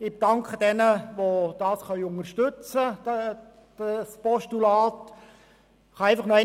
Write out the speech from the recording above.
Ich danke denjenigen, die das Postulat unterstützen können.